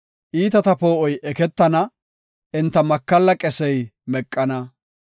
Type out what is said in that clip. Iitata poo7oy eketana; enta makalla qesey meqana.